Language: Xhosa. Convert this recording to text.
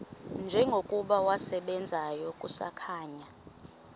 njengokuba wasebenzayo kusakhanya